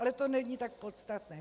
Ale to není tak podstatné.